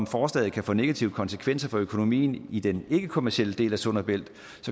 forslaget kan få negative konsekvenser for økonomien i den ikkekommercielle del af sund og bælt